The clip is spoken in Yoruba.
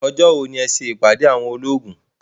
Ọjọ́ wo ni ẹ ṣe ìpàdé àwọn olóògùn.